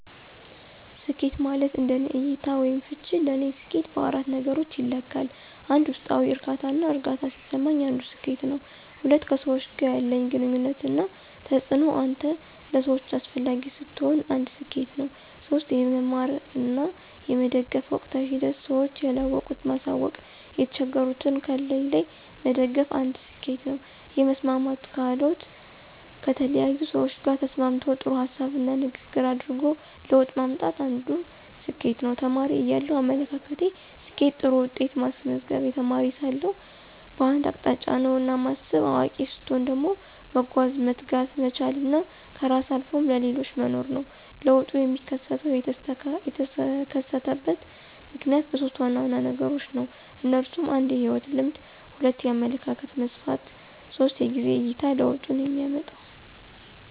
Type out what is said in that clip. ስኬት ማለት እንደኔ እይታ /ፍች ለኔ ሰኬት በአራት ነገሮች ይለካል 1, ውስጣዊ ዕርካታና እርግአታ ሲሰማኝ አንዱ ስኬት ነው። 2, ከሰዎች ጋር ያለኝ ግንኙነት እና ተጽእኖ አንተ ለሰዎች አሰፈላጊ ስትሆን አንድ ሰኬት ነው። 3, የመማር እና የመደገፍ ወቅታዊ ሂደት ስዎች ያለወቁት ማሳውቅ የተቸገሩትን ካለኝ ላይ መደገፍ አንድ ስኬት ነው 4, የመስማማት ክህሎት: ከተለያዪ ሰዎች ጋር ተስማምቶ ጥሩ ሀሳብና ንግግር አድርጎ ለውጥ ማምጣት አንድ ስኬት ነው። ተማሪ እያለው አመለካከቴ፦ ስኬት ጥሩ ውጤት ማስመዝገብ, የተማሪ ሳለሁ በአንድ አቅጣጫ ነውና ማስብ። አዋቂ ሰትሆን ደግሞ መጓዝ፣ መትጋት፣ መቻል እና ከራስ አልፎም ለሌሎች መኖር ነው። ለውጡ የሚከሰተው /የተከሰተበት ምክንያት በሦስት ዋና ዋና ነገሮች ነው። እነሱም 1, የህይወት ልምድ 2, የአመለካከት መስፍፍት 3, የጊዜ አይታ ለውጡንየሚመጣው።